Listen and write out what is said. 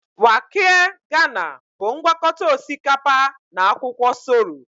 Waakye ghana bụ ngwakọta osikapa na akwụkwọ soro